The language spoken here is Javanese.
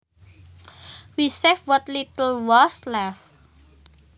We saved what little was left